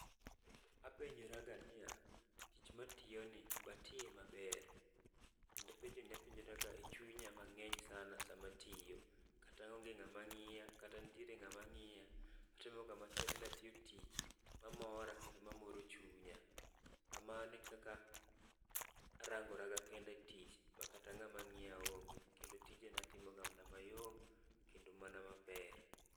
Apenjraga niya, tich matiyoni batiye maber. Kendo penjoni apenjraga e chunya mang'eny sana samatiyo. Kata onge ng'ama ng'iya kata nitiere ng'ama ng'iya, atemoga matek natiyo tich mamora kendo mamoro chunya. Kamano e kaka arangora ga kenda e tich ma kata ng'ama ng'iya onge. Kendo tijena atimoga mana mayom kendo mana maber.